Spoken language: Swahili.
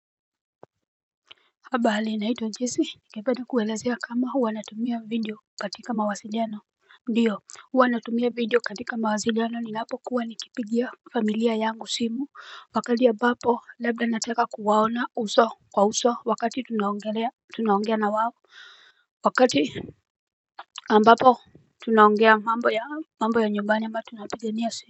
Habari, naitwa jesi ningependa kuwaelezea kama huwa natumia video katika mawasiliano. Ndiyo huwa natumia video katika mawasiliano ninapo kuwa nikipigia familia yangu simu wakati ambapo labda nataka kuwaona uso kwa uso wakati tunaongea na wao. Wakati ambapo tunaongea mambo ya mambo ya nyumbani ama tunapigania simu.